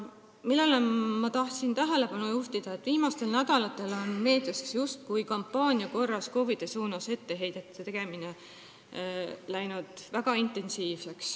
Ma tahtsin tähelepanu juhtida, et viimastel nädalatel on meedias justkui kampaania korras läinud väga intensiivseks KOV-idele etteheidete tegemine.